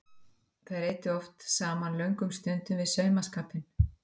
Þær eyddu oft saman löngum stundum við saumaskapinn.